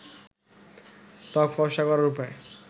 তক ফর্সা করার উপায়